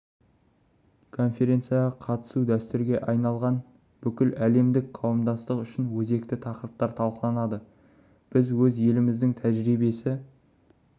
конференцияға қатысуы дәстүрге айналған бүгін әлемдік қауымдастық үшін өзекті тақырыптар талқыланды біз өз еліміздің тәжірибесі